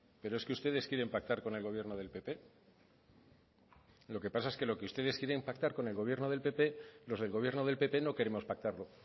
pero es que ustedes quieren pactar con el gobierno del pp lo que pasa es que lo que ustedes quieren pactar con el gobierno del pp los del gobierno del pp no queremos pactarlo